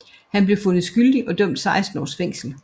Han blev fundet skyldig og idømt 16 års fængsel